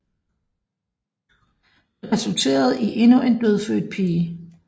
Det resulterede i endnu en dødfødt pige